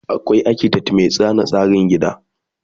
akwai architect Mai zana tsarin gida